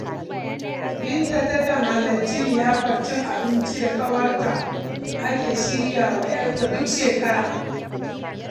Binta takan halarci liyafar cin abincin da ƙawarta take shirya wa ‘yarta duk shekara.